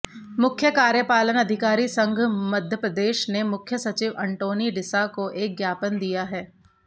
मुख्य कार्यपालन अधिकारी संघ मप्र ने मुख्य सचिव अंटोनी डिसा को एक ज्ञापन दिया है